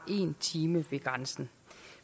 en time ved grænsen